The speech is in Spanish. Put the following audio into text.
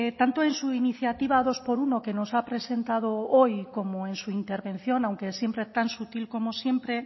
tanto en su iniciativa dos por uno que nos ha presentado hoy como en su intervención aunque siempre tan sutil como siempre